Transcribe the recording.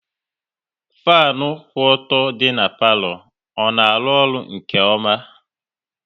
Fanu kwụ ọtọ dị n'palo, ọ na arụ ọrụ nke ọma?